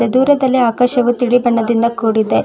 ದೂರದಲ್ಲಿ ಆಕಾಶವು ತಿಳಿ ಬಣ್ಣದಿಂದ ಕೂಡಿದೆ.